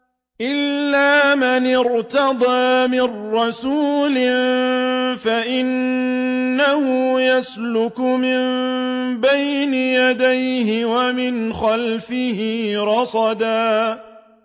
إِلَّا مَنِ ارْتَضَىٰ مِن رَّسُولٍ فَإِنَّهُ يَسْلُكُ مِن بَيْنِ يَدَيْهِ وَمِنْ خَلْفِهِ رَصَدًا